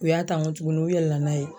U y'a ta n ko tukuni, u yɛlɛla n'a ye.